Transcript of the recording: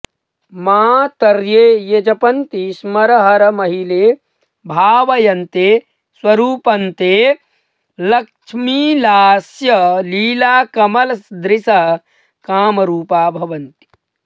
मातर्ये ये जपन्ति स्मरहरमहिले भावयन्ते स्वरूपन्ते लक्ष्मीलास्यलीलाकमलदृशः कामरूपा भवन्ति